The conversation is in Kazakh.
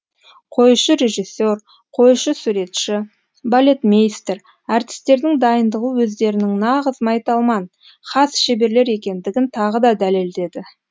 қоюшы режиссер қоюшы суретші балетмейстер әртістердің дайындығы өздерінің нағыз майталман хас шеберлер екендігін тағы да дәлелдеді